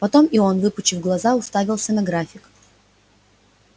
потом и он выпучив глаза уставился на график